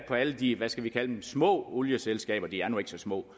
på alle de hvad skal vi kalde dem små olieselskaberne de er nu ikke så små